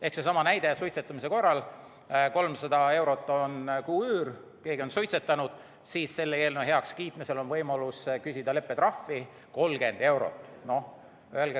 Ehk seesama näide suitsetamise korral: 300 eurot on kuuüür, kui keegi on suitsetanud, siis selle eelnõu heakskiitmise korral on võimalus küsida leppetrahvi 30 eurot kuus.